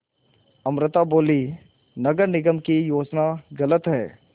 अमृता बोलीं नगर निगम की योजना गलत है